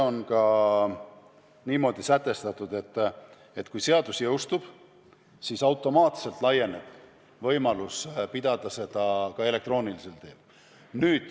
On niimoodi sätestatud, et kui seadus jõustub, siis automaatselt laieneb võimalus pidada koosolekuid ka elektroonilisel teel.